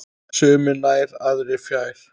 Sumir nær, aðrir fjær.